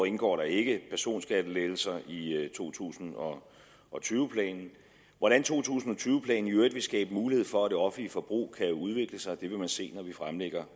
indgår der ikke personskattelettelser i to tusind og og tyve planen hvordan to tusind og tyve planen i øvrigt vil skabe mulighed for at det offentlige forbrug kan udvikle sig vil man se når vi fremlægger